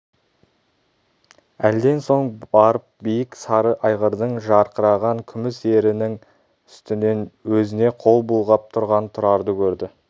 әлден соң барып биік сары айғырдың жарқыраған күміс ерінің үстінен өзіне қол бұлғап тұрған тұрарды көрді